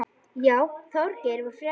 Já, Þorgeir var frekur.